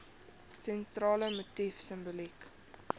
sentrale motief simboliek